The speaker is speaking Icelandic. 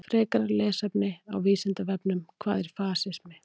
Frekara lesefni á Vísindavefnum: Hvað er fasismi?